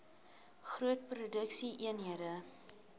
groot produksie eenhede